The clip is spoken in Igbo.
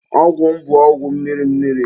Ọgwụ m bụ ọgwụ mmiri mmiri.